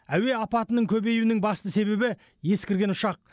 әуе апатының көбеюінің басты себебі ескірген ұшақ